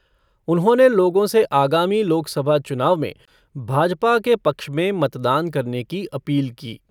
उन्होंने लोगों से आगामी लोकसभा चुनाव में भाजपा के पक्ष में मतदान करने की अपील की।